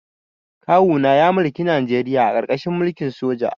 Kawuna ya mulki Najeriya a karkashin mulkin sojoji